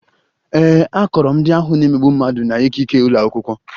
Ee, akọrọ m ndị ahụ na-emegbu mmadụ na ikike ụlọ akwụkwọ